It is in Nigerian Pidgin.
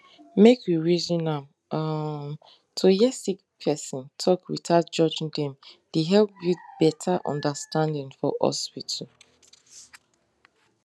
make we reason am um to hear sick person talk without judging dem dey help build better understanding for hospital